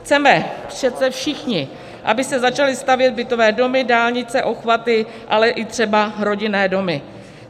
Chceme přece všichni, aby se začaly stavět bytové domy, dálnice, obchvaty, ale i třeba rodinné domy.